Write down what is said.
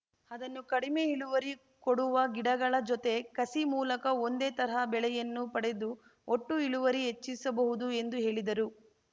ಅದನ್ನು ಕಡಿಮೆ ಇಳುವರಿ ಕೊಡುವ ಗಿಡಗಳ ಜೊತೆ ಕಸಿ ಮೂಲಕ ಒಂದೇ ತರಹ ಬೆಳೆಯನ್ನು ಪಡೆದು ಒಟ್ಟು ಇಳುವರಿ ಹೆಚ್ಚಿಸಬಹುದು ಎಂದು ಹೇಳಿದರು